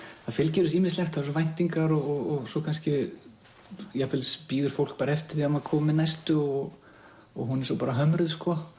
það fylgir þessu ýmislegt væntingar og jafnvel bíður fólk eftir því að maður komi með næstu og og hún er bara hömruð